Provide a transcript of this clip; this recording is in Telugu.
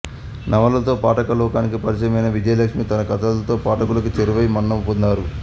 నవలతో పాఠక లోకానికి పరిచయమైన విజయలక్ష్మి తన కథలతో పాఠకులకు చేరువై మన్నన పొందారు